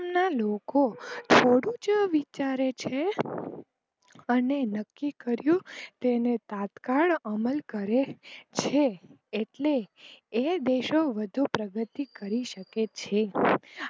ના લોકો થોડુ જ વિચારે છે અને નક્કી કર્યું કે તેને તત્કાલ અમલ કરે છે એટલે એ દેશો વધુ પ્રગતિ કરી શકે છે.